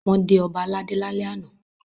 Wọ́n dé ọba aládé lálẹ́ àná.